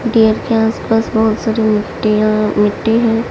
Dear के आसपास बहुत सारी मिट्टियां मिट्टी है।